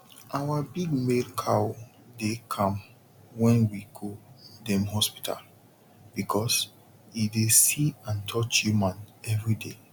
our big male cow dey calm wen we go dem hospital because e dey see and touch human every day